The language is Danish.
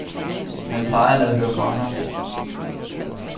Han plejer at lade høre fra sig.